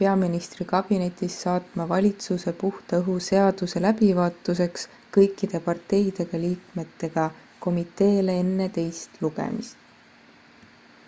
peaministri kabinetis saatma valitsuse puhta õhu seaduse läbivaatuseks kõikide parteide liikmetega komiteele enne teist lugemist